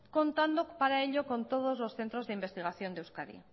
contando para ello con todos los centros de investigación de euskadi